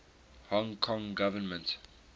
hong kong government